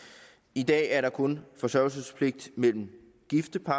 i dag er der kun forsørgelsespligt mellem gifte par